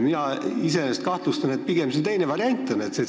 Mina iseenesest kahtlustan, et pigem on siin see teine variant.